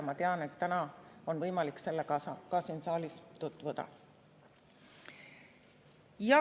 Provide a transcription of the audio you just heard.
Ma tean, et täna on võimalik sellega ka siin saalis tutvuda.